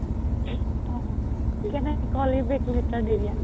O call you back later দি দিয়া